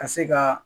Ka se ka